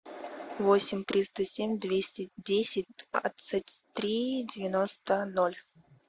восемь триста семь двести десять двадцать три девяносто ноль